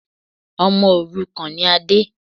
Ọmọ òrukàn ni Ade.